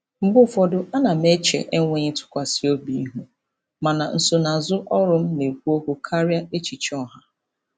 Mgbe ụfọdụ, ana m eche enweghị ntụkwasị obi ihu, mana nsonaazụ ọrụ m na-ekwu okwu karịa echiche ọha.